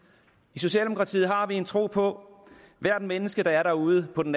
i socialdemokratiet har vi en tro på hvert menneske der er der ude på den